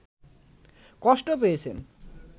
কষ্টও পেয়েছেন